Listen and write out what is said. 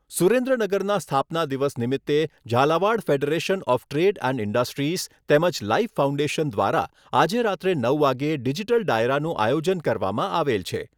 સુરેન્દ્રનગરના સ્થાપના દિવસ નિમિત્તે Jhalawad federation of trade and industries તેમજ લાઈફ ફાઉન્ડેશન દ્વારા આજે રાત્રે નવ વાગ્યે ડિજિટલ ડાયરાનું આયોજન કરવામાં આવેલ છે.